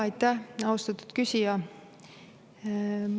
Aitäh, austatud küsija!